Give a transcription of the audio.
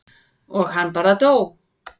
og hann bara dó.